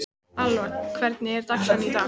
Alva, hvernig er dagskráin í dag?